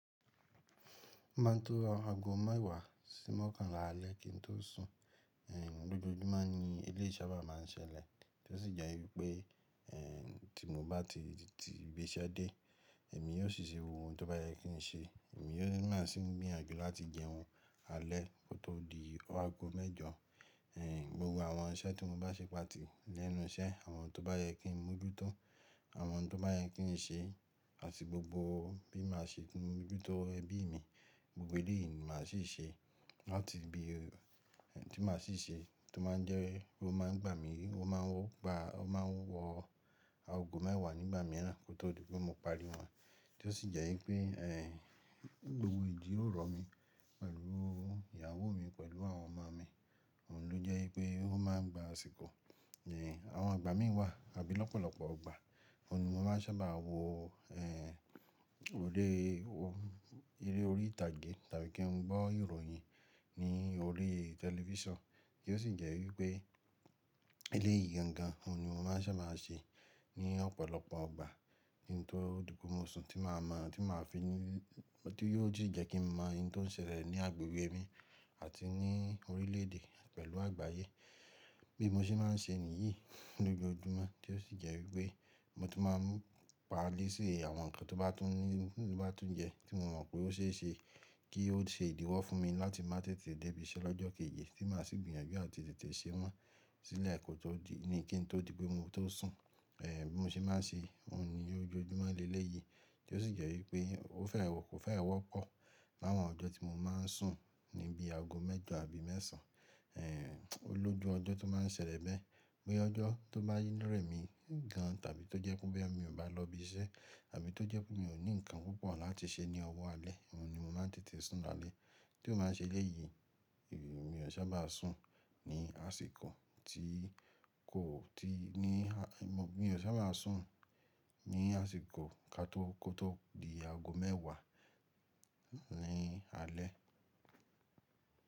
Ó má n tó aago mẹ́wàá sí mọ́kànlá alẹ́ kín tó sùn, eh, lójoojúmọ́ ni eléyìí sábà má n ṣẹlẹ̀ tí ó sì jẹ́ wípé, eh, tí mo bá ti ti ibi iṣẹ́ dé, èmi yóò sì ṣe ohun tó bá yẹ kí n ṣe, èmi yóò ma sì gbìyànjú láti jẹun alẹ́ kó tó di aago mẹ́jọ. Eh, gbogbo àwọn iṣẹ́ tí mo bá ṣe pàtì lẹ́nu iṣẹ́, àwọn tó bá yẹ kí n mú ojútó, àwọn tó bá yẹ kí n ṣe àti gbogbo bí màá ṣe mojútó ẹbí mi, gbogbo eléyìí ni màá sì ṣe láti ibi tí màá sì ṣe tó má n jẹ́ kó má n gbà mí, ó má n wọ aago mẹ́wàá nígbà mìíràn kó tó di pé mo parí wọn tí ó sì jẹ́ wípé, eh, gbogbo ìdí ó ro mí pẹ̀lú ìyàwó mi pẹ̀lú àwọn ọmọ mi, òun ló jẹ́ wípé ó ma n gba àsìkò. Eh, àwọn àgbà mí wà àbí lọ́pọ̀lọpọ̀ ìgbà, òun ni mo máa sábà wò, eh, orí wò, eré orí ìtàgé tàbí kí n gbọ́ ìròyìn ní orí tẹlifísàn kí ó sì jẹ́ wípé eléyìí gangan òun ni mo máa n sábà n ṣe ní ọ̀pọ̀lọpọ̀ ìgbà ní n tó di pé mo sùn tí màá mọ̀, tí màá fi ní, tí yóò sì jẹ́ kí mo mọ ẹni tó n ṣẹlẹ̀ ní agbègbè mi àti ní orílẹ̀ èdè pẹ̀lú àgbáyé. Bí mo ṣe má n ṣe nìyí lójoojúmọ́ tí ó sì jẹ́ wípé mo ti má n parí sí àwọn ǹkan tó bá tún ní, tó bá tún jẹ tí mo mọ̀ pé ó ṣe é ṣe kí ó ṣe ìdíwọ́ fún mi láti má tètè dé ibi iṣẹ́ lọ́jọ́ kejì tí màá sì gbìyànjú kí n tètè ṣe wọ́n sílẹ̀ kó tó di, ní kí n tó di pé mo tó sùn. Eh, bí mo ṣe má n ṣe òun ni ójoojúmọ́ ni eléyìí tí ó sì jẹ́ wípé ó fẹ́rẹ̀ wọ́pọ̀ láwọn ọjọ́ tí mo má n sùn níbi aago mẹ́jọ àbí mẹ́sàn án. Eh, olójú ọjọ́ tó má n ṣẹlẹ̀ bẹ́ẹ̀, bóyá ọjọ́ tó bá rẹ̀ mí gan tàbí tó jẹ́ pé bẹ́ẹ̀ mi ò bá lọ ibi iṣẹ́ àbí tó jẹ́ pé mi ò ní ǹkan púpọ̀ láti ṣe ní ọwọ́ alẹ́, òun ni mo má n tètè sùn lálẹ́. Ti ó bá ṣe eléyìí, mi ò n sábà sùn ní àsìkò tí kò tí ní, mi ò sábà sùn ní àsìkò ká tó kó tó di aago mẹ́wàá ní alẹ́.